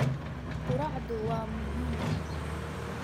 Quraacdu waa muhiim.